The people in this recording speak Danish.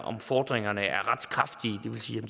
om fordringerne er retskraftige det vil sige